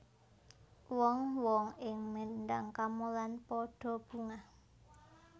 Wong wong ing Mendhang Kamolan padha bungah